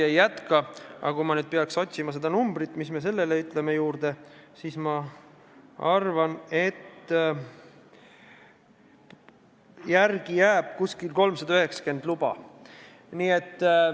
Aga kui ma nüüd peaks otsima seda numbrit, siis ma arvan, et järele jääb umbes 390 luba.